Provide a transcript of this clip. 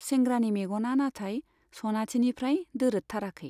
सेंग्रानि मेग'ना नाथाय सनाथिनिफ्राइ दोरोदथाराखै।